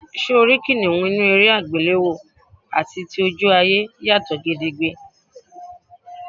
S̩e o rí kìnìún inú eré àgbéléwò àti tójú ayé yàtò̩ gedegbe.